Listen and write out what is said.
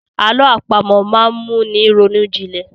Àlọ àpamọ̀ máa ń mú ni ronú jinlẹ̀.